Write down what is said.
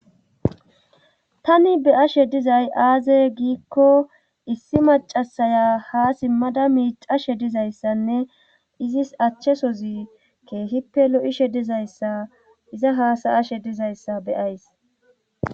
Tani be ashe dizay aaze giikko issi macasaya ha simmada miicashe dizayssanne izis achchesozi keehippe lo7ishe dizayssa iza haasa ashe dizayssa beyays.